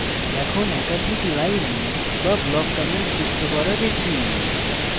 এখন একাধিক line বা block comments যুক্ত করা শিখি